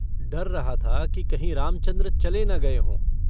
डर रह था कि कहीं रामचन्द्र चले न गए हों।